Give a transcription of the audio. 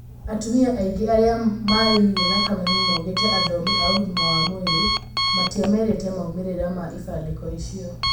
Atumia aingĩ arĩa maririe na kameme maugĩte athomi a ũgima wa mwĩrĩ. Matiamerite maumĩrĩra ma ibandĩko icio.